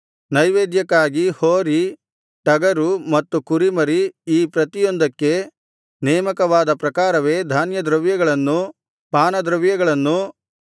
ನೈವೇದ್ಯಕ್ಕಾಗಿ ಹೋರಿ ಟಗರು ಮತ್ತು ಕುರಿಮರಿ ಈ ಪ್ರತಿಯೊಂದಕ್ಕೆ ನೇಮಕವಾದ ಪ್ರಕಾರವೇ ಧಾನ್ಯದ್ರವ್ಯಗಳನ್ನೂ ಪಾನದ್ರವ್ಯಗಳನ್ನೂ